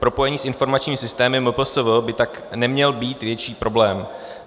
Propojení s informačními systémy MPSV by tak neměl být větší problém.